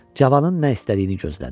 Cavanın nə istədiyini gözlədi.